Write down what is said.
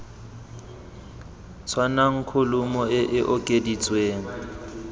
tshwanang kholomo e e okeditsweng